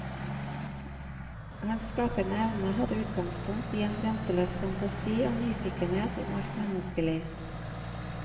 Hans skapende evne hadde utgangspunkt i en grenseløs fantasi og nyfikenhet om alt menneskelig.